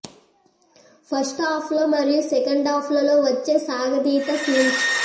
first half లో మరియు second half లలో వచ్చే సాగదీత సీన్స్